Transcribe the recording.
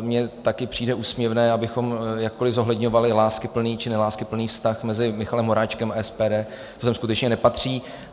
mně taky přijde úsměvné, abychom jakkoli zohledňovali láskyplný či neláskyplný vztah mezi Michalem Horáčkem a SPD, to sem skutečně nepatří.